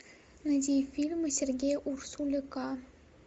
найди фильмы сергея урсуляка